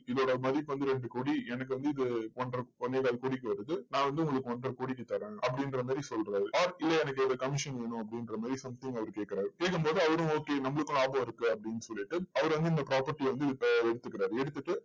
இதோட மதிப்பு வந்து ரெண்டு கோடி. எனக்கு வந்து இது ஒன்ற ஒண்ணேகால் கோடிக்கு வருது நான் வந்து உங்களுக்கு ஒன்றை கோடிக்கு தரேன். அப்படின்ற மாதிரி சொல்றாரு. or இதுல எனக்கு commission வேணும் அப்படின்ற மாதிரி something அவர் கேக்குறாரு. கேக்கும் போது அவரும் okay நம்மளுக்கும் இதுல லாபம் இருக்கு அப்படின்னு சொல்லிட்டு அவர் வந்து இந்த property அ வந்து எடுத்துக்கிறாரு. எடுத்துட்டு